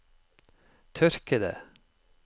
tørkede